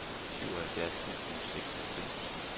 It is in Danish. syvoghalvfjerds tusind og seksoghalvfems